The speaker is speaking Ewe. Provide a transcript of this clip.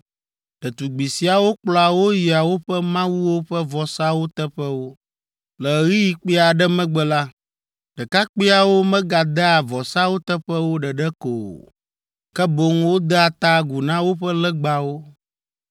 Ɖetugbi siawo kplɔa wo yia woƒe mawuwo ƒe vɔsawo teƒewo. Le ɣeyiɣi kpui aɖe megbe la, ɖekakpuiawo megadea vɔsawo teƒewo ɖeɖe ko o, ke boŋ wodea ta agu na woƒe legbawo.